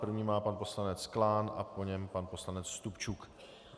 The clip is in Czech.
První má pan poslanec Klán a po něm pan poslanec Stupčuk.